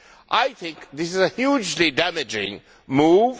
I think this is a hugely damaging move.